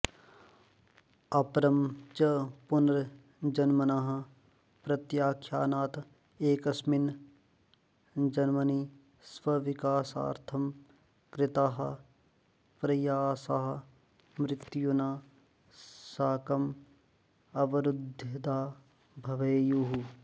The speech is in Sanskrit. अपरं च पुनर्जन्मनः प्रत्याख्यानात् एकस्मिन् जन्मनि स्वविकासार्थं कृताः प्रयासाः मृत्युना साकम् अवरुध्दा भवेयुः